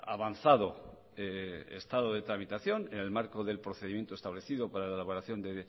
avanzado estado de tramitación en el marco del procedimiento establecido para la elaboración de